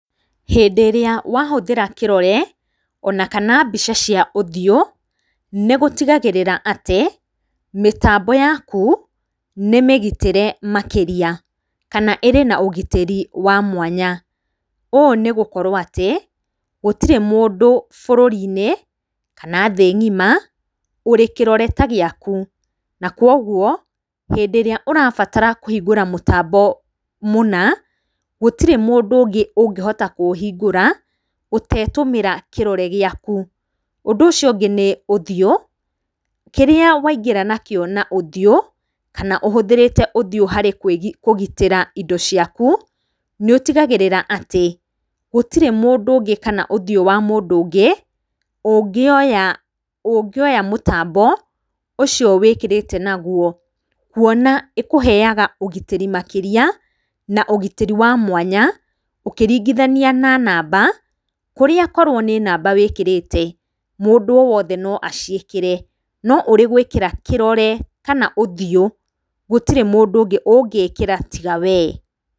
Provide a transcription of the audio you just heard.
Hĩndĩ ĩrĩa wahũthĩra kĩrore, ona kana mbica cia ũthiũ, nĩ gũtigagĩrĩra atĩ mĩtambo yaku nĩ mĩgitĩre makĩria , kana ĩrĩ na ũgitĩri wa mwanya. ũũ nĩ gũkorwo atĩ gũtirĩ mũndũ bũrũri-inĩ, kana thĩĩ ngĩma, ũrĩ kĩrore ta gĩaku. Na koguo hĩndĩ ĩrĩa ũrabatara kuhingũra mũtambo mũna gũtirĩ mũndũ ũngĩ ũngĩhota kũuhingũra ũtetũmĩra kĩrore gĩaku. Ũndũ ũcio ũngĩ nĩ ũthiũ, kĩrĩa waingĩra nakĩo na ũthiũ kana ũhũthĩrĩte ũthiũ harĩ indo ciaku nĩ ũtĩgagĩrĩra atĩ gũtirĩ mũndũ ũngĩ kana ũthiũ wa mũndũ ũngĩ ũngĩoya mũtambo ucio wĩkĩrĩte nagũo kũona ĩkuheyaga ũgitĩri makĩria na ũgitĩri wa mwanya ũkĩringithanĩa na namba kũrĩa korwo nĩ namba wĩkĩrĩte mũndu o wothe no acikĩre no urĩgwĩkĩra kĩrore kana ũthiũ gũtirĩ mũndũ ũngĩ ũngikĩra tiga wee.